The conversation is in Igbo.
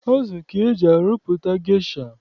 Azụ ka eji arụpụta gesha.